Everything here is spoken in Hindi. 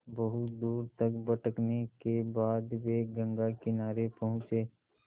बहुत दूर तक भटकने के बाद वे गंगा किनारे पहुँचे